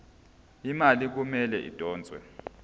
imali kumele idonswe